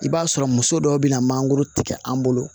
I b'a sɔrɔ muso dɔw be na mangoro tigɛ an bolo